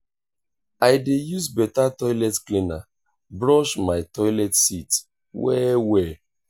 i dey use beta toilet cleaner brush my toilet seat well-well.